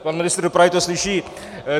Pan ministr dopravy to slyší.